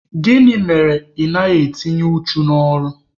Gịnị mere na ị naghị adị uchu n'ọrụ?